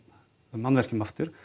mannvirkjum aftur